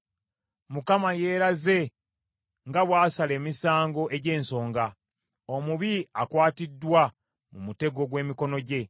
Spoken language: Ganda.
Mukama yeeraze nga bw’asala emisango egy’ensonga. Omubi akwatiddwa mu mutego gw’emikono gye.